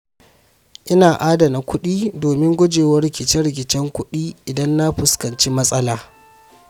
Ina adana kuɗi domin guje wa rikice-rikicen kuɗi idan na fuskanci matsala.